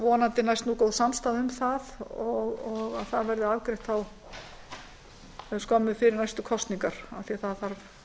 vonandi næst góð samstaða um það og það verði afgreitt skömmu fyrir næstu kosningar af því að það þarf